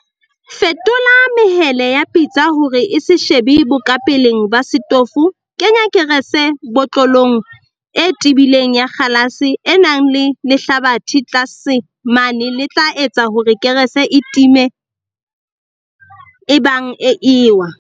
Fetola mehele ya pitsa hore e se shebe bokapeleng ba setofo Kenya kerese botlolong e tebileng ya kgalase e nang le lehlabathe tlase mane le tla etsa hore kerese e time ebang e ewa.